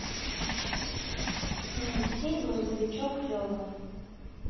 найти грузовичок лева